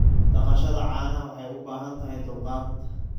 Dhaqashada caanaha waxay u baahan tahay dulqaad.